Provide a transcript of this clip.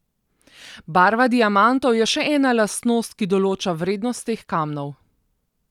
Barva diamantov je še ena lastnost, ki določa vrednost teh kamnov.